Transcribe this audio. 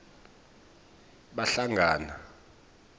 bahlangana